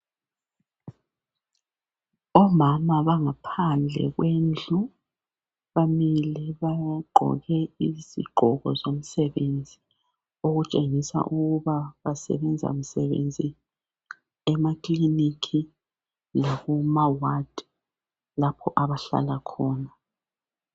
Omama bangaphandle kwendlu bamile bagqoke izigqoko zomsebenzi okutshengisa ukuba basebanza msebenzi emakiliniki lakuma ward lapho abahlala khona.